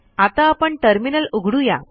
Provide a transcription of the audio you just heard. आता आपण टर्मिनल उघडू या